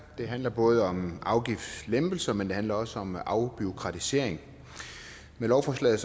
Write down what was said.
det handler både om afgiftslempelser men det handler også om afbureaukratisering med lovforslaget